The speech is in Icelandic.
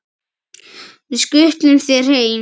Við skutlum þér heim!